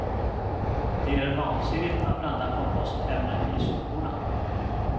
Det är vansinnigt att blanda kompostämnen i soporna.